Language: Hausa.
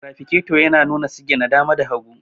tirafikato yana nuna sigina dama da hagu